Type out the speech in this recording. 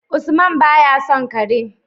Usman baya son Kare